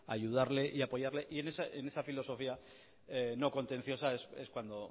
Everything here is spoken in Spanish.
ayudarle y apoyarle y en esa filosofía no contenciosa es cuando